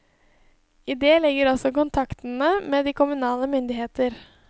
I det ligger også kontaktene med de kommunale myndigheter.